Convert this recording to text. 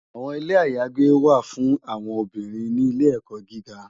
Awòn Ilé àyágbé wá fún áwòn óbìrín ni Ilè èkò gìgá